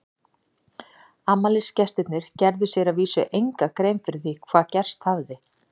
Afmælisgestirnir gerðu sér að vísu enga grein fyrir því hvað gerst hafði.